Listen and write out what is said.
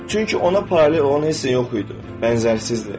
Çünki ona paralel olan heç nə yox idi, bənzərsizdir.